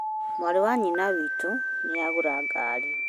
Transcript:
Mwarĩ wa nyina witũnĩagũra ngari